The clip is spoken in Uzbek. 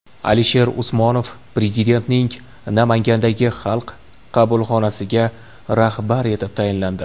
Alisher Usmonov Prezidentning Namangandagi xalq qabulxonasiga rahbar etib tayinlandi.